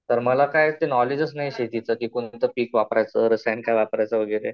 तर मला काय ते नॉलेजचं नाही शेतीच कि कोणतं पीक वापरायचं, रसायन काय वापरायचं वैगरे.